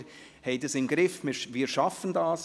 Wir haben es im Griff, wir schaffen das!